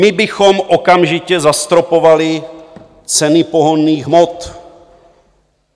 "My bychom okamžitě zastropovali ceny pohonných hmot."